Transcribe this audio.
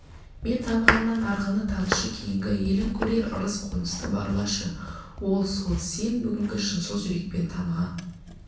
мен танығаннан арғыны танышы кейінгі елің көрер ырыс-қонысты барлашы ол сол сен бұгінгі шыншыл жүрекпен таныған